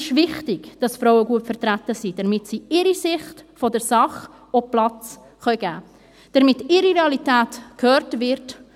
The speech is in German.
Es ist , dass Frauen gut vertreten sind, damit sie ihrer Sicht der Dinge auch Raum geben können, damit ihre Realität gehört wird.